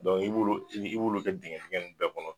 Dɔnku i b'ulu u b'ulu kɛ dingɛ fɛngɛ nunnu bɛɛ kɔnɔ